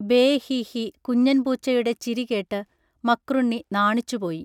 bay ഹി ഹി കുഞ്ഞൻ പൂച്ചയുടെ ചിരി കേട്ട് മക്രുണ്ണി നാണിച്ചുപോയി